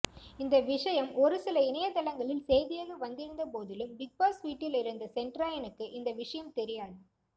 இந்த விஷயம் ஒருசில இணையதளங்களில் செய்தியாக வந்திருந்தபோதிலும் பிக்பாஸ் வீட்டில் இருந்த செண்ட்ராயனுக்கு இந்த விஷயம் தெரியாது